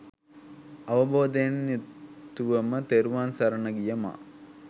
අවබෝධයෙන් යුතුවම තෙරුවන් සරණ ගිය මා